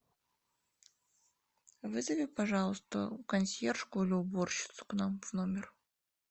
вызови пожалуйста консьержку или уборщицу к нам в номер